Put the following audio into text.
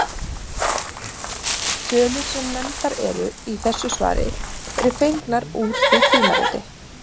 Tölur sem nefndar eru í þessu svari eru fengnar úr því tímariti.